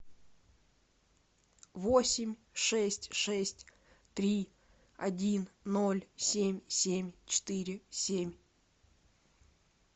восемь шесть шесть три один ноль семь семь четыре семь